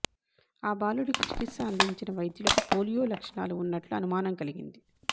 ఆ బాలుడికి చికిత్స అందించిన వైద్యులకు పోలియో లక్షణాలు ఉన్నట్లు అనుమానం కలిగింది